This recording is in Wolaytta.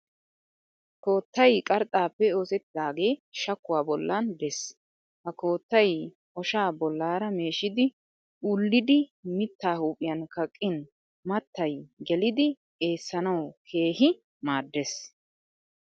Koottay qarxxaapoe oosettidaagee shakkuwa bollan des. Ha koottay oshaa bollaara meeshidi ullidi mittaa huuphiyan kaqqin mattay gelidi eessanawu keehi maaddes.